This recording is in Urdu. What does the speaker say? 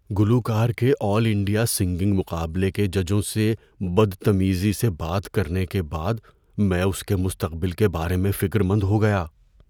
گلوکار کے آل انڈیا سنگنگ مقابلے کے ججوں سے بدتمیزی سے بات کرنے کے بعد میں اس کے مستقبل کے بارے میں فکر مند ہو گیا۔